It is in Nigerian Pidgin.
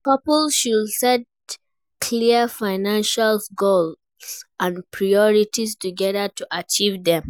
Couples should set clear financial goals and priorities together to achieve dem.